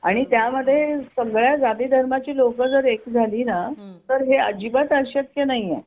आणि त्यामध्ये सगळी जात धर्माची लोक जर एक झाली ना तर हे अजिबात अशक्य नाही